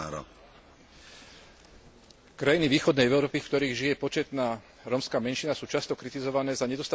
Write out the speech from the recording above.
Krajiny východnej Európy, v ktorých žije početná rómska menšina, sú často kritizované za nedostatočnú starostlivosť o rómske etnikum.